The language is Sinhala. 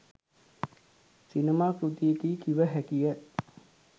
සිනමා කෘතියකියි කිව හැකිය.